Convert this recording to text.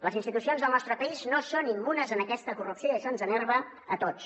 les institucions del nostre país no són immunes a aquesta corrupció i això ens enerva a tots